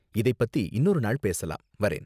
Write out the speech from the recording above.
இதைப் பத்தி இன்னொரு நாள் பேசலாம். வரேன்.